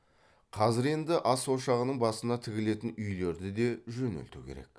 қазір енді ас ошағының басына тігілетін үйлерді де жөнелту керек